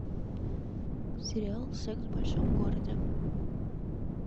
сериал секс в большом городе